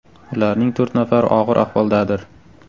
Ularning to‘rt nafari og‘ir ahvoldadir.